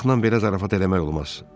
Uşaqla belə zarafat eləmək olmaz.